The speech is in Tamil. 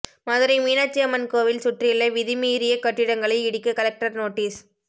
மதுரை மீனாட்சி அம்மன் கோவில் சுற்றியுள்ள விதிமீறிய கட்டிடங்களை இடிக்க கலெக்டர் நோட்டீஸ்